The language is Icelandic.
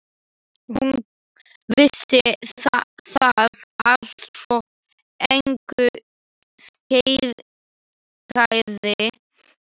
Hún vissi það allt, svo engu skeikaði.